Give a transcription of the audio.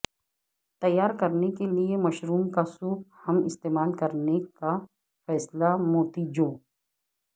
تیار کرنے کے لئے مشروم کا سوپ ہم استعمال کرنے کا فیصلہ موتی جو